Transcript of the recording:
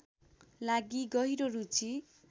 लागि गहिरो रुचि